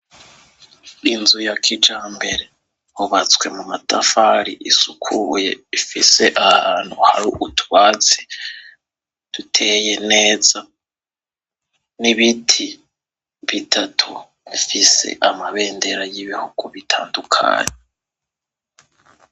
Inzu ya kijyambere yubatswe mu matafari, isukuye, ifise ahantu hari utwatsi duteye neza, n'ibiti bitatu bifise amabendera y'ibihugu bitandukanye.